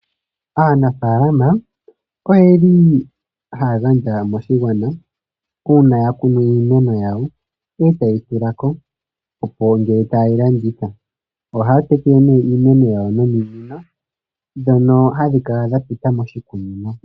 Aanafaalama oyeli haya gandja moshigwana uuna ya kunu iimeno yawo, e tayi tula ko, opo ngele ta ye yi landitha. Ohaya tekele nee imeno yawo nominino ndhono hadhi kala dha pita moshikunino.